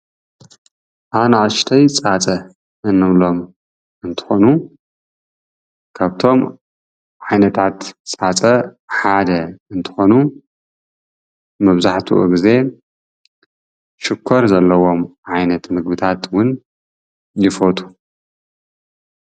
ኣናእሽተይ ፃፀ እንብሎም አንትኾኑ ካብቶም ዓይነታት ፃፀ ሓደ እንትኾኑ መብዛሕትኡ ግዜ ሽኮር ዘለዎም ዓይነት ምግቢታት እውን ይፈትዉ።